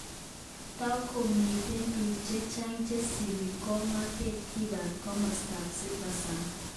Takomiten pik chechok chesipi kogerkotko kipa komostap Silversand.